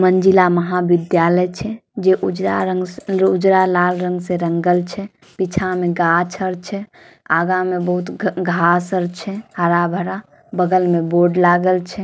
मंजिला महाविद्यालय छै जे उजरा रंग से उजरा लाल रंग से रंगल छै पीछा मे गाछ आर छै आगा मे बहुत घा घास आर छै हरा भरा बगल मे बोर्ड लगाल छै।